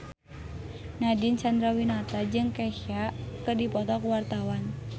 Nadine Chandrawinata jeung Kesha keur dipoto ku wartawan